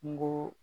Kungo